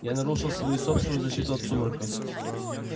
я нарушил свою собственную защиту от сумрака